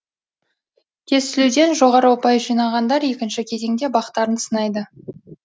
тестілеуден жоғары ұпай жинағандар екінші кезеңде бақтарын сынайды